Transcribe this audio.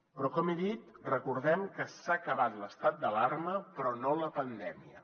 però com he dit recordem que s’ha acabat l’estat d’alarma però no la pandèmia